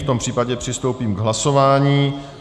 V tom případě přistoupíme k hlasování.